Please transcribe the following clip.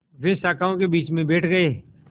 वे शाखाओं के बीच में बैठ गए